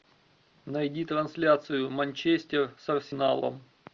найди трансляцию манчестер с арсеналом